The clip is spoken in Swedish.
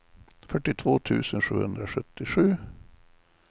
fyrtiotvå tusen sjuhundrasjuttio